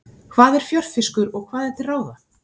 Hvað er fjörfiskur og hvað er til ráða?